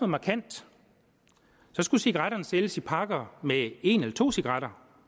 markant skulle cigaretterne sælges i pakker med en eller to cigaretter